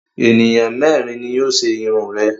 Ènìyàn mẹ́rin ni yóò ṣe irun rẹ.